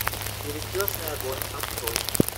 перекрестный огонь открой